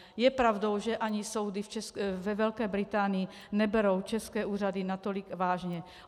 Je pravdou, že ani soudy ve Velké Británii neberou české úřady natolik vážně.